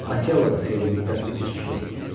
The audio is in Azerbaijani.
Akela da xeyli müddətdir ki, susur.